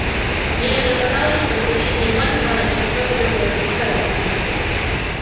ей уже казалось что кричит не иван иваныч а кто-то другой посторонний